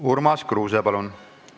Urmas Kruuse, palun!